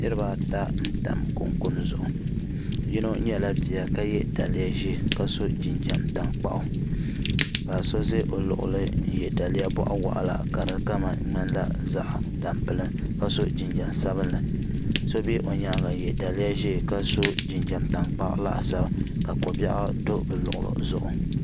Niriba ata n tam kunkuni zuɣu yino nyɛla bia ka ye daliya ʒee ka so jinjiɛm tankpaɣu ka so ʒɛ o luɣili n ye daliya boɣuwaɣala ka di kama ŋmanila zaɣa tampilim ka so jinjiɛm sabinli so be o nyaanga ka ye daliya ʒee ka so jinjiɛm tankpaɣu laasabu ka kobiɛɣu do bɛ luɣuli zuɣu.